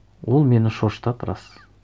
ол мен шошытады рас